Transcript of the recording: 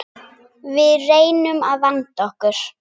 Við reynum að vanda okkur.